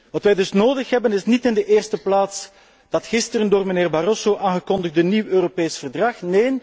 Wat wij dus nodig hebben is niet in de eerste plaats dat gisteren door mijnheer Barroso aangekondigde nieuw Europees verdrag.